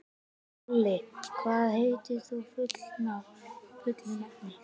Olli, hvað heitir þú fullu nafni?